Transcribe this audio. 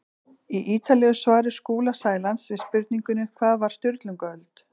Í ítarlegu svari Skúla Sælands við spurningunni Hvað var Sturlungaöld?